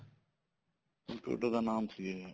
ਜੀ computer ਦਾ ਨਾਮ ਸੀ ਇਹ